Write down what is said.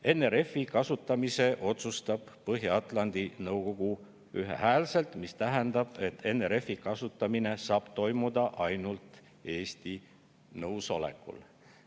NRF-i kasutamise otsustab Põhja-Atlandi Nõukogu ühehäälselt, mis tähendab, et NRF-i saab kasutada ainult ka Eesti nõusolekul.